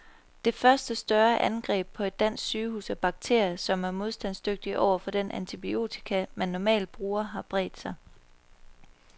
Det første større angreb på et dansk sygehus af bakterier, som er modstandsdygtige over for den antibiotika, man normalt bruger, har bredt sig.